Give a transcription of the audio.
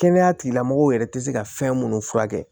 Kɛnɛya tigilamɔgɔw yɛrɛ tɛ se ka fɛn munnu furakɛ